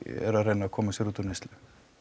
eru að reyna að koma sér út úr neyslu